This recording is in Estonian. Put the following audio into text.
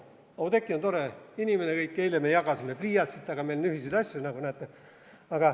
Oudekki on tore inimene, kõik, eile me jagasime pliiatsit, meil on ühiseid asju, nagu näete.